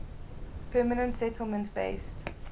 permanent settlement based